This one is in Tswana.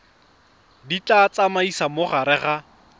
di tsamaisa mo gare ga